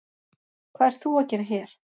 Hvað ert þú að gera hér?